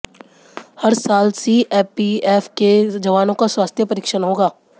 हर साल सीएपीएफ के जवानों का स्वास्थ्य परिक्षण होगा